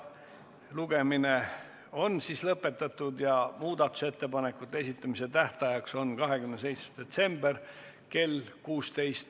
Lugemine on lõpetatud ja muudatusettepanekute esitamise tähtaeg on 27. detsembril kell 16.